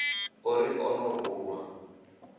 o ri o no ruṅwa